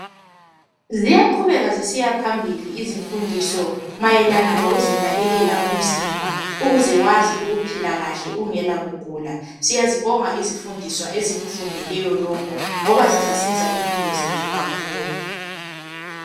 Ziyaqhubeka zisiyaphambili izimfundiso mayelana lokuzinakekela umzimba ukuze wazi ukuphila kahle ungela kugula. Siyazibonga izifundiswa ezikufundeleyo lokho ngoba zizasiza impilo zethu kakhulu.